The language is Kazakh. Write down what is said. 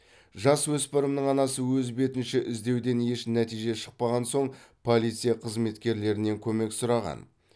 жасөспірімнің анасы өз бетінше іздеуден еш нәтиже шықпаған соң полиция қызметкерлерінен көмек сұраған